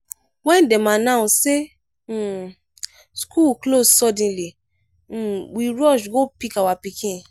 wen dem announce sey um skool close suddenly um we rush go pick our pikin.